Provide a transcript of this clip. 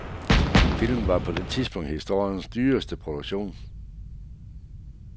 Filmen var på det tidspunkt historiens dyreste produktion.